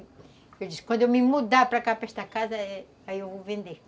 Eu disse, quando eu me mudar para cá, para esta casa, aí eu vou vender.